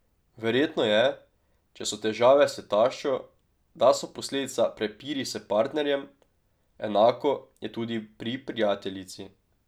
Verjetno je, če so težave s taščo, da so posledica prepiri s partnerjem, enako je tudi pri prijateljici.